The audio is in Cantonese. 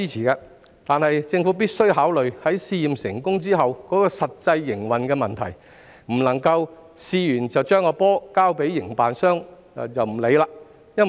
然而，政府必須考慮試驗成功後的實際營運問題，不能在試驗後把"球"交給營辦商便置之不理。